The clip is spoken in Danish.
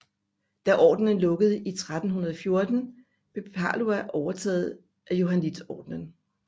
Da ordenen lukkede i 1314 blev Palau overtaget af Johanniterordenen